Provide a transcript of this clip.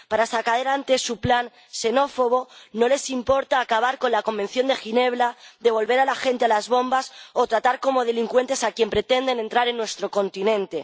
Para sacar adelante su plan xenófobo, no les importa acabar con la Convención de Ginebra, devolver a la gente a las bombas o tratar como delincuentes a quienes pretenden entrar en nuestro continente.